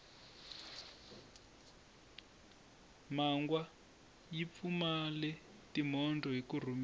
mangwa yi pfumale timhondzo hiku rhumisa